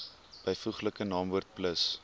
byvoeglike naamwoord plus